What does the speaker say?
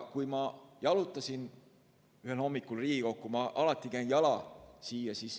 Ma jalutasin ühel hommikul Riigikokku, ma tulen alati jala siia.